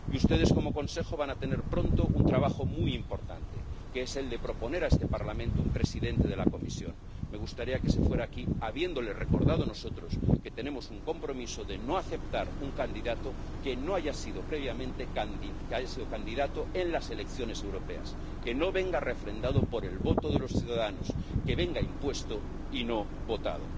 Y ustedes como Consejo van a tener pronto un trabajo muy importante, que es el de proponer a este Parlamento un presidente de la Comisión. Me gustaría que se fuera de aquí habiéndole recordado nosotros que tenemos un compromiso de no aceptar un candidato que no haya sido previamente candidato en las elecciones europeas, que no venga refrendado por el voto de los ciudadanos, que venga impuesto y no votado.